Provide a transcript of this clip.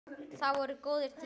Það voru góðir tímar.